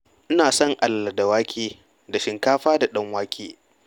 Ina son alala da wake da shinkafa da ɗan wake.